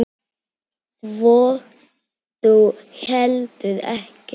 Svo þú heldur ekki?